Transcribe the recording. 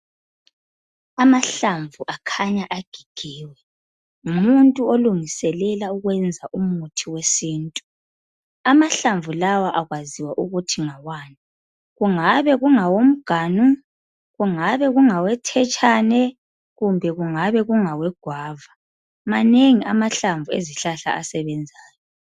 Amahlamvu akhanya agigiwe, ngumuntu olungiselela ukwenza umuthi wesintu. Amahlamvu lawa akwaziwa ukuthi ngawani. Kungabe kungawomganu, kungabe kungawe thetshane kumbe kungabe kungawe gwava. Manengi amahlamvu ezihlahla asebenzayo.